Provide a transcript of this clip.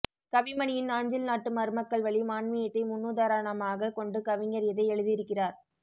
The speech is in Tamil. கவிமணியின் நாஞ்சில்நாட்டு மருமக்கள் வழி மான்மியத்தை முன்னுதாரணமாகக் கொண்டு கவிஞர் இதை எழுதியிருக்கிறார்